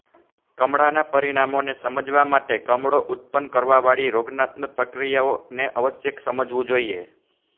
કમળા ના પરિણામોને સમજવા માટે કમળો ઉત્પન્ન કરવા વાળી રોગાત્મક પ્રક્રિયાઓ ને અવશ્ય સમજવું જોઈએ